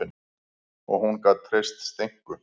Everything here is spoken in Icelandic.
Og hún gat treyst Steinku.